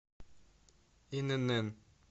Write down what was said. инн